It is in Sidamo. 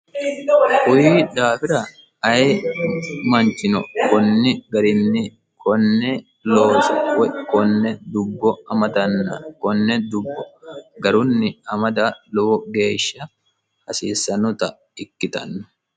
kuyi daafira aye manchino konni garinni konne looso woyi konne dubbo amadanna konne dubbo garunni amada lowo geeshsha hasiissanota ikkitanno